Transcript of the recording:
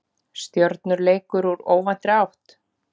Stjörnuleikur úr óvæntri átt?